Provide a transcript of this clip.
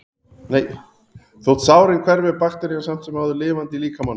Þótt sárin hverfi er bakterían samt sem áður lifandi í líkamanum.